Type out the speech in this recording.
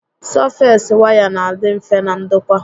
Sọfees waya n'adị mfe na ndokwa